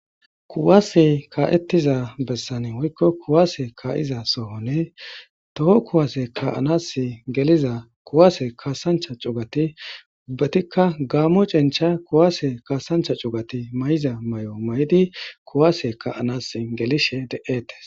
Kuwaase kaa'etida besani woykko kuwase ka'za sohoni toho kuwaase ka'anaasi geliza kuwaase kasancha cugati ubbatikagaamo cencha kuwase kaasanchcha cugati mayiza mayo ma'idi kuwase kaa'anasi gelishe de'etees.